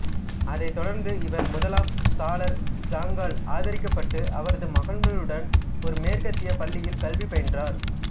அதைத் தொடர்ந்து இவர் முதலாம் சலார் ஜங்கால் ஆதரிக்கப்பட்டு அவரது மகன்களுடன் ஒரு மேற்கத்திய பள்ளியில் கல்வி பயின்றார்